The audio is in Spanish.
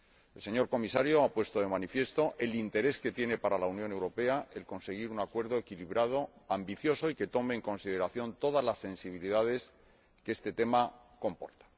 El señor Comisario ha puesto de manifiesto el interés que tiene para la Unión Europea conseguir un acuerdo equilibrado, ambicioso y que tome en consideración todas las sensibilidades que este tema comporta.